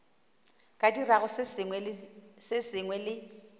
ka dirago se sengwe le